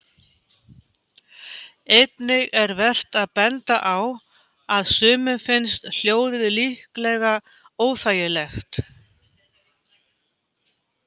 Einnig er vert að benda á að sumum finnst hljóðið líklega óþægilegt.